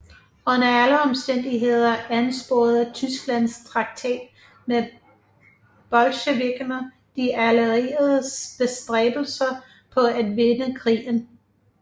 Under alle omstændigheder ansporede Tysklands traktat med bolsjevikkerne de allieredes bestræbelser på at vinde krigen